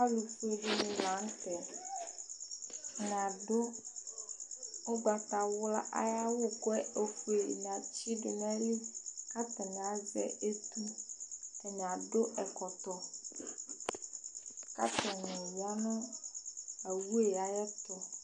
alo fue di ni lantɛ atani adu ugbata wla ayi awu k'ofue di ni atsi do n'ayili k'atani azɛ etu atani adu ɛkɔtɔ k'atani ya no owu yɛ ayi ɛto